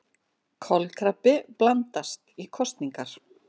Kolkrabbi blandast í kosningar